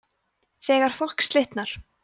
þegar fólk slitnar